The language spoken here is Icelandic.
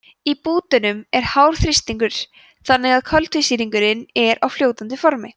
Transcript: í kútunum er hár þrýstingur þannig að koltvísýringurinn er á fljótandi formi